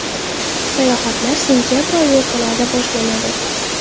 Sayohatlar sentabr oyi o‘rtalaridan boshlanadi.